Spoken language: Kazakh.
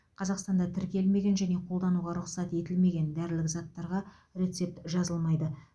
қазақстанда тіркелмеген және қолдануға рұқсат етілмеген дәрілік заттарға рецепт жазылмайды